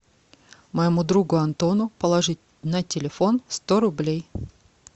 моему другу антону положить на телефон сто рублей